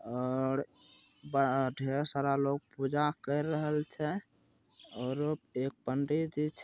और बड़ा ढेर सारा लोग पूजा कर रहेल छे ओरो एक पंडितजी--